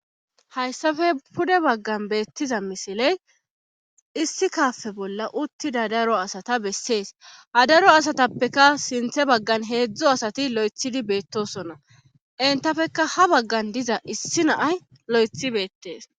Hayssafe pude baggan beettiza misiley issi kaafe bolla uttida daro asata bessees ha daro asatappeka sinthe baggan heedzdzo asati lo7ethidi beettosonna intafeka ha baggan diza issi naay lo7ethi beettees.